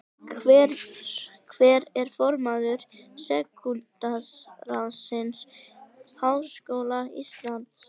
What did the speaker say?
Hver er formaður Stúdentaráðs Háskóla Íslands?